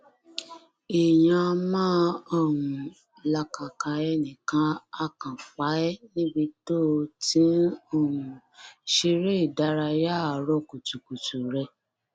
èèyàn áà máa um làkàkà ẹnì ka àá kan fa ẹ níbi tó o ti ń um ṣeré ìdárayá àárọ kùtùkùtù rẹ